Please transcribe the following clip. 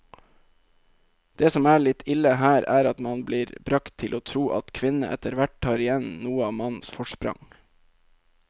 Det som er litt ille her, er at man blir bragt til å tro at kvinnene etterhvert tar igjen noe av mannens forsprang.